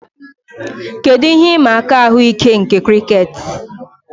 Kedu ihe ịma aka ahụike nke crickets